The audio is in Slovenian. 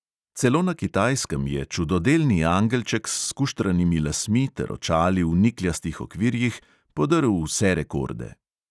Celo na kitajskem je čudodelni angelček s skuštranimi lasmi ter očali v nikljastih okvirjih podrl vse rekorde.